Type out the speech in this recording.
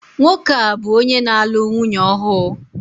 Nwoke a bu onye nālu nwunye ọhu?